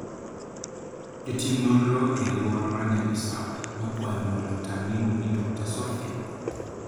Jotim nonro e alwora mar Nyabisawa nokwayo mondo laktar miluongo ni Dr. Sofia.